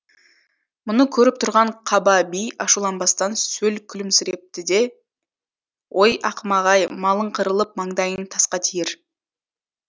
мұны көріп тұрған қаба би ашуланбастан сөл күлімсірепті де ой ақымақ ай малың қырылып маңдайың тасқа тиер